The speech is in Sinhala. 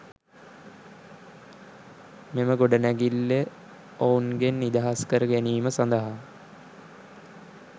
මෙම ගොඩනැගිල්ල ඔවුන්ගෙන් නිදහස් කර ගැනීම සඳහා